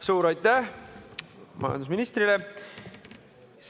Suur aitäh majandusministrile!